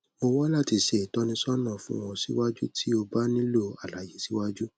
mo wa lati ṣe itọnisọna fun ọ siwaju ti o ba nilo alaye siwaju